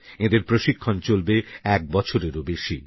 এঁদের প্রশিক্ষণ চলবে এক বছরেরও বেশী